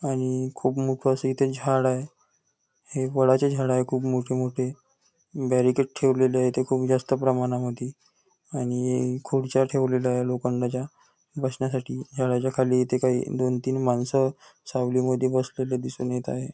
आणि खूप मोठ अस इथे झाडं आहे हे वडाच झाड आहे खूप मोठे मोठे बॅरिकेड ठेवलेले आहेत खूप जास्त प्रमाणामध्ये आणि ए खुर्च्या ठेवल्या आहेत लोकांना बसण्यासाठी झाडाच्या खाली इथे काही दोन तीन माणस सावलीमद्धे बसलेले दिसून येत आहे.